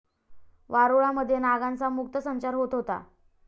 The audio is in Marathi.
वारुळा मध्ये नागांचा मुक्त संचार होत होता.